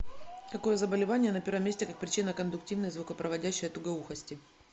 какое заболевание на первом месте как причина кондуктивной звукопроводящей тугоухости